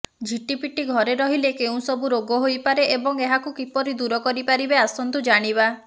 ଝିଟିପିଟି ଘରେ ରହିଲେ କେଉଁ ସବୁ ରୋଗ ହୋଇପାରେ ଏବଂ ଏହାକୁ କିପରି ଦୂର କରିପାରିବେ ଆସନ୍ତୁ ଜାଣିବା